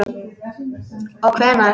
Og hvenær?